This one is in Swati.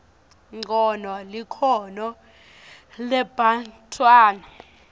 ncono likhono lebantfwana